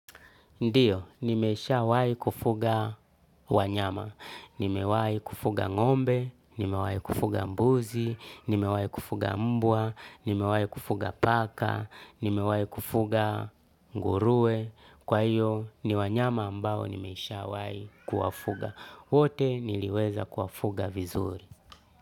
Ndio, nimesha wahi kufuga wanyama. Nimewahi kufuga ng'ombe, nimewahi kufuga mbuzi, nimewahi kufuga mbwa, nimewahi kufuga paka, nimewahi kufuga nguruwe. Kwa hiyo, ni wanyama ambao nimesha wahi kuwafuga. Wote niliweza kuwafuga vizuri.